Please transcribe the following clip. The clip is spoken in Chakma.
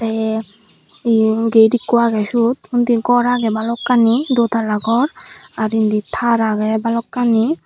ey eyun get ikko agey sot undi gor agey balokkani dwtala gor ar indi tar agey balokkani.